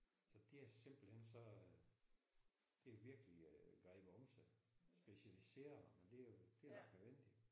Så det er simpelthen så det har virkelig grebet om sig med specialiseringer men det er jo det er nok nødvendigt